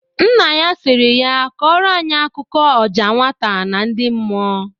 Nne ya siri ya kọrọ anyị akụkụ ọja nwata na ndị mmụọ!